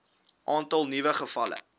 aantal nuwe gevalle